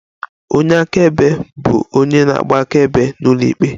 Onye akaebe bụ onye na-agba akaebe n'ụlọikpe